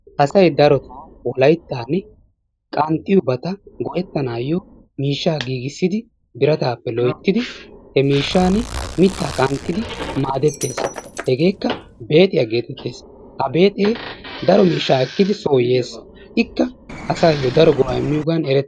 asay darotoo wolaytta qanxxiyoobata go''etanayyo miishshaa giigissidi biraatappe loyttidi he miishshan mitta qanxxidi maaddeetees. hegekka beexiyaa getetees. ha beexee daro miishsha ekkidi so yees, ika daro go''a imiyooga erettee...